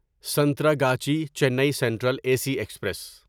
Santragachi Chennai central A C express